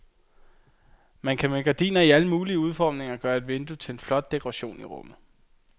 Man kan med gardiner i alle mulige udformninger gøre et vindue til en flot dekoration i rummet.